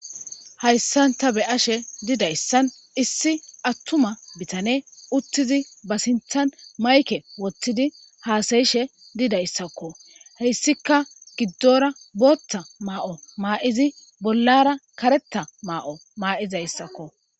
Hayssanta be ashe didayssan issi attuma bitane uttizi ba sinthan mayke wottidi haasayishe didayssakko heyssika giddora bootta maa7o maa,izi bollara karetta maa,o maa,izayssakko.